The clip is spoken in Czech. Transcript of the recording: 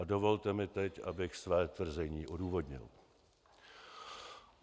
A dovolte mi teď, abych své tvrzení odůvodnil.